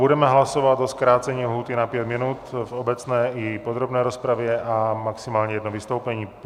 Budeme hlasovat o zkrácení lhůty na pět minut v obecné i podrobné rozpravě a maximálně jedno vystoupení.